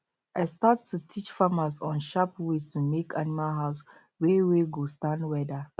i start to teach farmers on sharp ways to make animal house um wey wey go stand weather